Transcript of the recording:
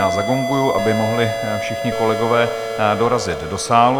Já zagonguji, aby mohli všichni kolegové dorazit do sálu.